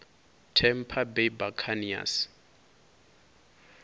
tampa bay buccaneers